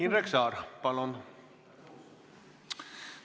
Indrek Saar, palun!